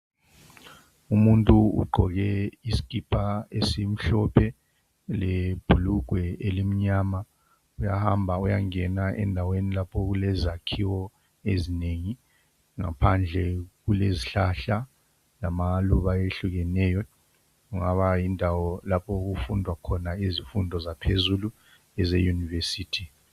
umuntu ogqoke isikipa esimhlophe lebhulugwa eli mnyama uyahamba uyangena lapho okulezakhiwo ezinengi phandle kulrzihlahla lamaluba ayehlukeneyo kwaba yindawo lapho okufundwa khona izifundo zaphezulu eze university